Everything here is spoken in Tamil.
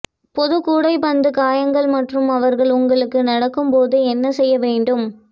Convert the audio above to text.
பொது கூடைப்பந்து காயங்கள் மற்றும் அவர்கள் உங்களுக்கு நடக்கும் போது என்ன செய்ய வேண்டும்